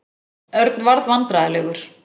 Örn varð vandræðalegur.